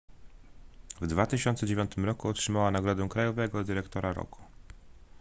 w 2009 roku otrzymała nagrodę krajowego dyrektora roku